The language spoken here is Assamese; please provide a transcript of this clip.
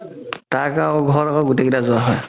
তাৰ ঘৰত গুতেই কেইটাৰ জৰ